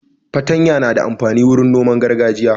Fatanya na da amfani wurin noman gargajiya.